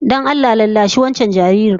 Don Allah rarrashi wancan jaririn